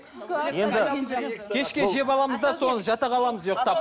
енді кешке жеп аламыз да соны жата қаламыз ұйықтап